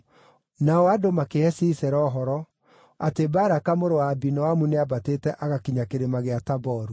Nao andũ makĩhe Sisera ũhoro, atĩ Baraka mũrũ wa Abinoamu nĩambatĩte agakinya Kĩrĩma gĩa Taboru.